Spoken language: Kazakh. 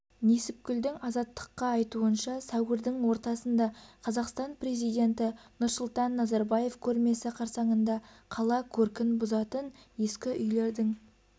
несіпкүлдің азаттыққа айтуынша сәуірдің ортасында қазақстан президенті нұрсұлтан назарбаев көрмесі қарсаңында қала көркін бұзатын ескі үйлердің